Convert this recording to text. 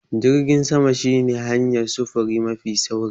Jirgin sama shine hanyar sufuri mafi sauri.